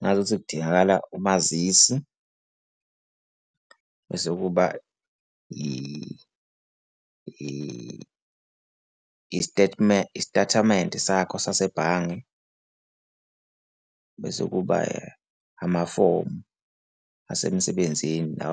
Ngazuthi kudingakala umazisi, bese kuba i-statement, istathamente sakho sasebhange, bese kuba amafomu asemsebenzini la